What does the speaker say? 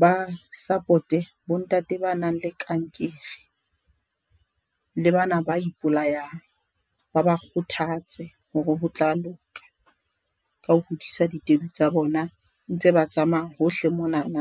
ba support-e bo ntate ba nang le kankere, le bana ba ipolayang ba ba kgothatse ho re hotla loka, ka ho hodisa ditedu tsa bona. Ntse ba tsamaya hohle monana,